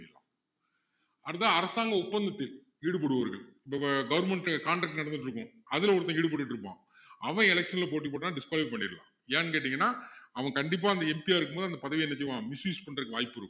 அடுத்தது அரசாங்க ஒப்பந்தத்தில் ஈடுபடுபவர்கள் இப்போ government contract நடந்துட்டுருக்கும் அதுல ஒருத்தன் ஈடுபட்டுட்டு இருப்பான் அவன் election ல போட்டி போட்டா disqualify பண்ணிடலாம் ஏன்னு கேட்டிங்கன்னா அவன் கண்டிப்பா அந்த MP ஆ இருக்கும் போது பதவியை என்ன செய்வான் misuse பண்றதுக்கு வாய்ப்பு இருக்கும்